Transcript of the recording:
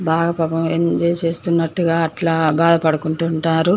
ఇది ఒక పెద్ద చెరువు. ఈ చెరువులో చాలా చేపలూ--